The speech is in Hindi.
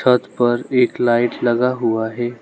छत पर एक लाइट लगा हुआ है।